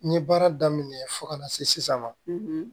N ye baara daminɛ fo kana se sisan ma